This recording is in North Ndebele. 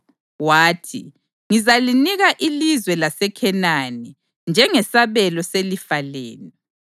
wathi “Ngizalinika ilizwe laseKhenani njengesabelo selifa lenu.”